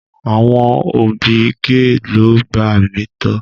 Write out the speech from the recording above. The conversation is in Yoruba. Àwọn òbí gee lo gbà mí to.